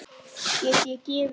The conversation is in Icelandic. Get ég gefið það?